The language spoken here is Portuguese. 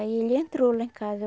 Aí ele entrou lá em casa.